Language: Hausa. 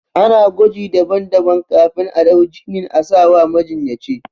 Ana gwaji daban daban kafin a ɗau jinin asawa majinyaci